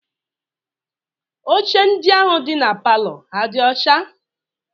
Oche ndị ahụ dị na palọ ha dị ọcha?